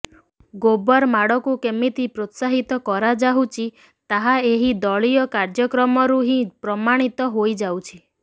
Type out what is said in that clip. ଗୋବର ମାଡ଼କୁ କେମିତି ପ୍ରୋତ୍ସାହିତ କରାଯାଉଛି ତାହା ଏହି ଦଳୀୟ କାର୍ଯ୍ୟକ୍ରମରୁ ହିଁ ପ୍ରମାଣିତ ହୋଇଯାଉଛି